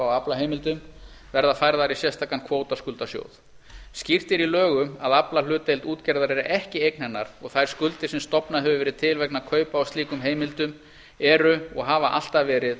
aflaheimildum verða færðar í sérstakan kvótaskuldasjóð skýrt er í lögum að aflahlutdeild útgerðar er ekki eign hennar og þær skuldir sem stofnað hefur verið til vegna kaupa á slíkum heimildum eru og hafa alltaf verið